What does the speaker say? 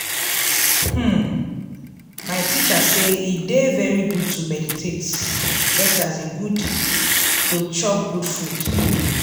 hmm my teacher say e dey very good to meditate just as e good to chop good food.